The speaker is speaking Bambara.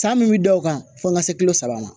San min bɛ da o kan fo ka se kulo saba ma